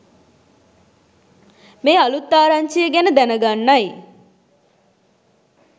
මේ අලුත් ආරංචිය ගැන දැන ගන්නයි